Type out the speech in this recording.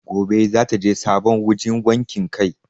Gobe zata je sabon wajan wakin kai